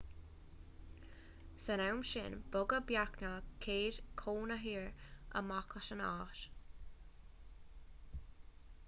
san am sin bogadh beagnach 100 cónaitheoir amach as an áit